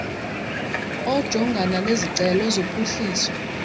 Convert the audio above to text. ojongana nezicelo zophuhliso